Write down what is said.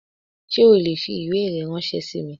Sé o le fi ìwé rẹ ránsé sí mi?